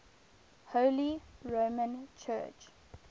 holy roman church